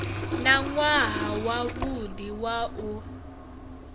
na nwaha wavhudi wa u